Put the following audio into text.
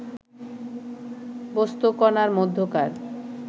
বস্তুকণার মধ্যকার